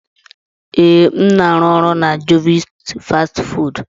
Ee, m na-arụ ọrụ na jovit fastị fụụdụ.